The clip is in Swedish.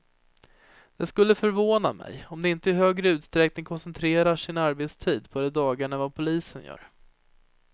Det skulle förvåna mig om de inte i högre utsträckning koncentrerar sin arbetstid på de dagarna än vad polisen gör.